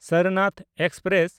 Sarnath express